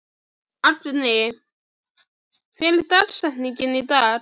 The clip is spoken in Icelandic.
Agni, hver er dagsetningin í dag?